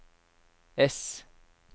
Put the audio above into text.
S